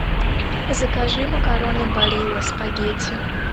закажи макароны барилла спагетти